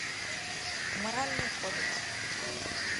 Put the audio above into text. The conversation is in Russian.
моральный кодекс